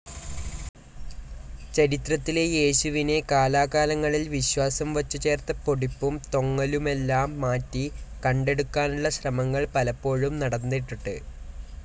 ചരിത്രത്തിലെ യേശുവിനെ, കാലാകാലങ്ങളിൽ വിശ്വാസം വച്ചുചേർത്ത പൊടിപ്പും തൊങ്ങലുമെല്ലാം മാറ്റി, കണ്ടെടുക്കാനുള്ള ശ്രമങ്ങൾ പലപ്പോഴും നടന്നിട്ടുണ്ട്.